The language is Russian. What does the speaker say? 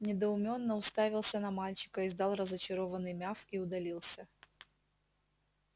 недоуменно уставился на мальчика издал разочарованный мяв и удалился